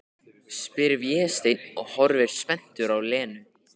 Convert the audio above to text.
spyr Vésteinn og horfir spenntur á Lenu.